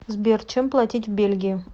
сбер чем платить в бельгии